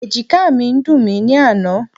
Ẹ̀jìkáà mi ń dùn mí ní àná.